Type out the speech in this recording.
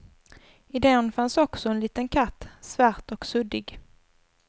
I den fanns också en liten katt, svart och suddig.